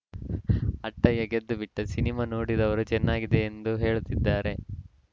ಅಟ್ಟಯ್ಯ ಗೆದ್ದುಬಿಟ್ಟ ಸಿನಿಮಾ ನೋಡಿದವರು ಚೆನ್ನಾಗಿದೆ ಎಂದು ಹೇಳುತ್ತಿದ್ದಾರೆ